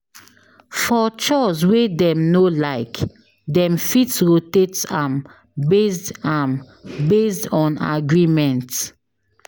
For chores wey dem no like, dem fit rotate am based am based on agreement